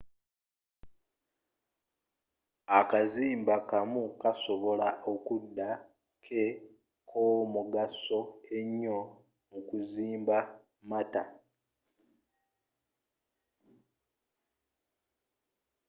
akazimba kamu kasobola okuda ke k'omugasso ennyo mu kuzimba matter